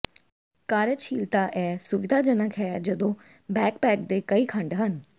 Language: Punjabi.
ਕਾਰਜਸ਼ੀਲਤਾ ਇਹ ਸੁਵਿਧਾਜਨਕ ਹੈ ਜਦੋਂ ਬੈਕਪੈਕ ਦੇ ਕਈ ਖੰਡ ਹਨ